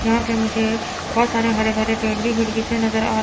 यहां पे मुझे बहुत सारे हरे भरे पेड़ भी खिड़की से नजर आ--